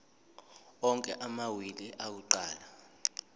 onke amawili akuqala